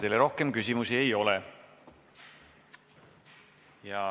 Teile rohkem küsimusi ei ole.